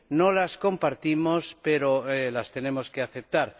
No las compartimos, pero las tenemos que aceptar.